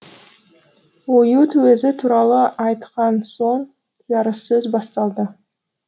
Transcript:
оюут өзі туралы айтқан соң жарыссөз басталды